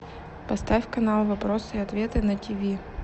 поставь канал вопросы и ответы на тиви